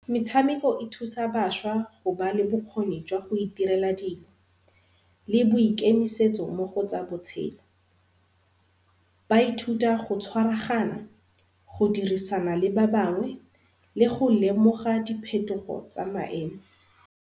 Metshameko e thusa bašwa go ba le bokgoni jwa go itirela dingwe le boikemiso mo go tsa botshelo. Ba ithuta go tshwaragana, go dirisana le ba bangwe le go lemoga diphetogo tsa maemo.